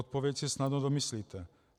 Odpověď si snadno domyslíte.